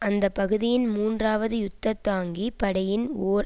அந்த பகுதியின் மூன்றாவது யுத்த தாங்கி படையின் ஓர்